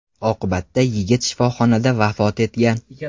Oqibatda yigit shifoxonada vafot etgan.